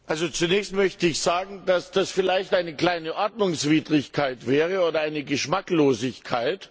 Zunächst möchte ich sagen, dass das vielleicht eine kleine Ordnungswidrigkeit wäre oder eine Geschmacklosigkeit.